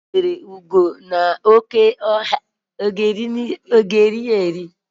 O jidere ugo n'oke ọhịa, aga erili ya eri?